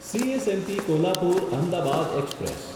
CSMT Kolhapur Ahmedabad express